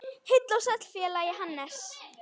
Heill og sæll félagi Hannes!